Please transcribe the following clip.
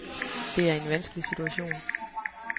Det er en vanskelig situation.